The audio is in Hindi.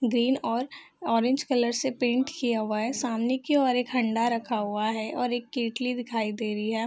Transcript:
ग्रीन और ऑरेंज कलर से पेंट किया हुआ है सामने की ओर एक हंडा रखा हुआ है और एक केटली दिखाई दे रही है।